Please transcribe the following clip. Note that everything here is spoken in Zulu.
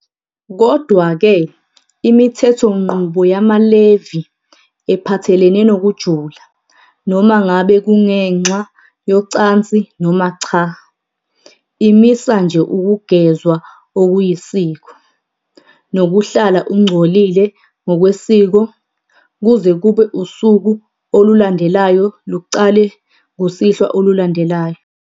Kodwa-ke, imithethonqubo yamaLevi ephathelene nokujula, noma ngabe kungenxa yocansi noma cha, imisa nje ukugezwa okuyisiko, nokuhlala ungcolile ngokwesiko kuze kube usuku olulandelayo luqale kusihlwa olulandelayo.